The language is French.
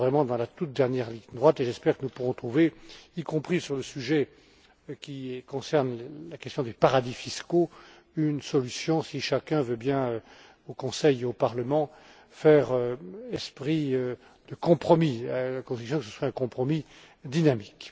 nous sommes vraiment dans la toute dernière ligne droite et j'espère que nous pourrons trouver, y compris sur le sujet qui concerne la question des paradis fiscaux, une solution, si chacun veut bien, au Conseil et au Parlement, faire esprit de compromis, à la condition que ce soit un compromis dynamique.